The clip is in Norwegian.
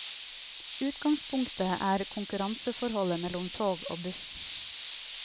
Utgangspunktet er konkurranseforholdet mellom tog og buss.